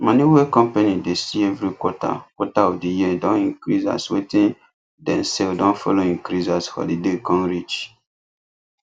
money wey company dey see every quarter quarter of di year don increase as wetin dem sell don follow increase as holiday come reach